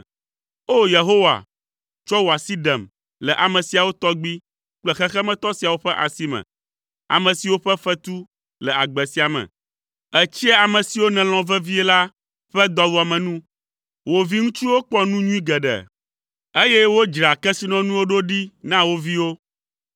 O! Yehowa, tsɔ wò asi ɖem le ame siawo tɔgbi kple xexemetɔ siawo ƒe asi me, ame siwo ƒe fetu le agbe sia me. Ètsia ame siwo nèlɔ̃ vevie la ƒe dɔwuame nu; wo viŋutsuwo kpɔ nu nyui geɖe, eye wodzraa kesinɔnuwo ɖo ɖi na wo viwo.